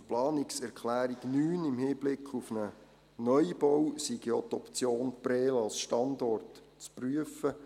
Zur Planungserklärung 9: Im Hinblick auf einen Neubau sei ja die Option Prêles als Standort zu prüfen.